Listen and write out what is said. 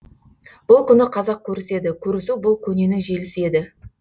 бұл күні қазақ көріседі көрісу бұл көненің желісі еді